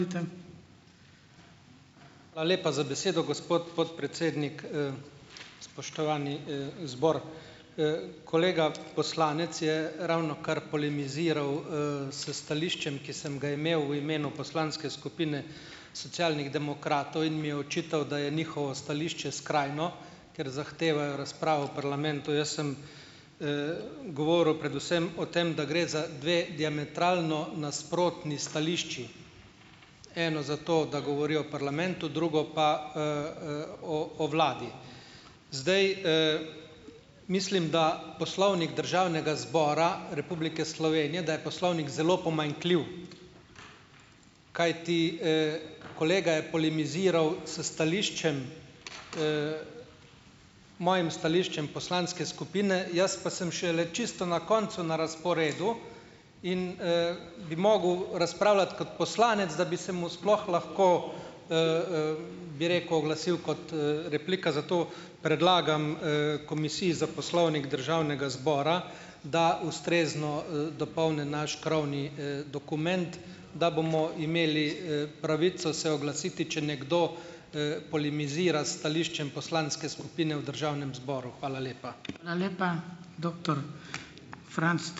Hvala lepa za besedo, gospod podpredsednik. Spoštovani, zbor! Kolega poslanec je ravnokar polemiziral, s stališčem, ki sem ga imel v imenu poslanske skupine Socialnih demokratov, in mi je očital, da je njihovo stališče skrajno, ker zahtevajo razpravo v parlamentu. Jaz sem, govoril predvsem o tem, da gre za dve diametralno nasprotni stališči. Eno za to, da govorijo o parlamentu, drugo pa, o o vladi. Zdaj, mislim, da Poslovnik Državnega zbora Republike Slovenije, da je poslovnik zelo pomanjkljiv. Kajti, kolega je polemiziral s stališčem, mojim stališčem poslanske skupine, jaz pa sem šele čisto na koncu na razporedu in, bi mogel razpravljati kot poslanec, da bi se mu sploh lahko, bi rekel, oglasil kot, replika, zato predlagam, Komisiji za poslovnik Državnega zbora, da ustrezno, dopolni naš pravni, dokument, da bomo imeli, pravico se oglasiti, če nekdo, polemizira s stališčem poslanske skupine v državnem zboru. Hvala lepa.